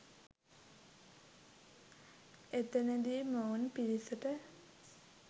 එතනදි මොවුන් පිරිසට